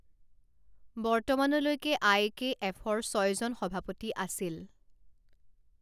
বৰ্তমানলৈকে আই কে এফৰ ছয়জন সভাপতি আছিল।